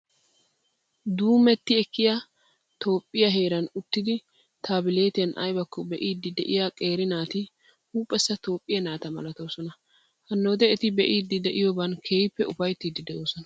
Duummeti ekkiyaa heeran uttidi taabileetiyan ayibakko be'iiddi de'iyaa qeeri naati Huuphessa Toophphiyaa naata malatoosona. Hannoode eti be'iiddi de'iyooban keehippe ufayttiiddi de'oosona.